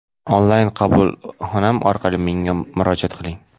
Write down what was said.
onlayn qabulxonam orqali menga murojaat qiling.